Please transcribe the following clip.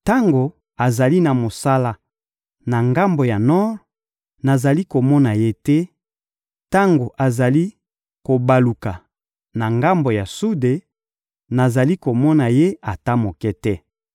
Tango azali na mosala na ngambo ya nor, nazali komona Ye te, tango azali kobaluka na ngambo ya sude, nazali komona Ye ata moke te.